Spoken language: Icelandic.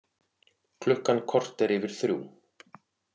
Klukkan korter yfir þrjú